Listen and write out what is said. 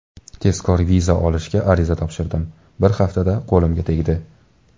Tezkor viza olishga ariza topshirdim, bir haftada qo‘limga tegdi.